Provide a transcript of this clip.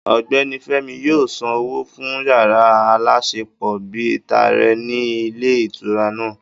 Ọ̀gbẹ́ni Fémi yóò san owó fún yàrá aláṣepọ̀ bíi tààrẹ ní ilé ìtura náà